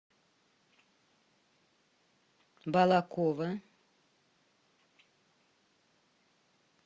балаково